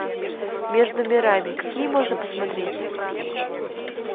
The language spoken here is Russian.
между мирами какие можно посмотреть